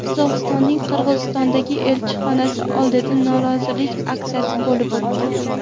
Qozog‘istonning Qirg‘izistondagi elchixonasi oldida norozilik aksiyasi bo‘lib o‘tdi.